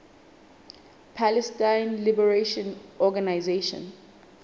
palestine liberation organization